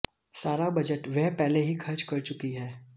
सारा बजट वह पहले ही खर्च कर चुकी है